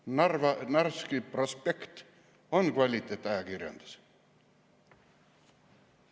Kas Narva Narvski Prospekt on kvaliteetajakirjandus?